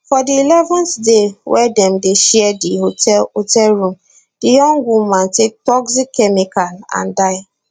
for di 11th day wey dem dey share di hotel hotel room di young woman take toxic chemical and die